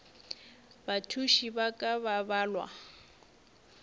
bathuši ba ka ba balwa